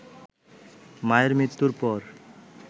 মায়ের মৃত্যুর পর